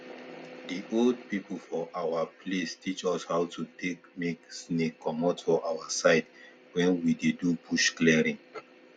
the old people for our place teach us how to dey make snake comot for our side when we dey do bush clearing